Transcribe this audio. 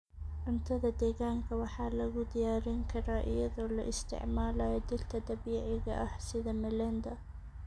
Cuntada deegaanka waxaa lagu diyaarin karaa iyadoo la isticmaalayo dhirta dabiiciga ah sida melenda.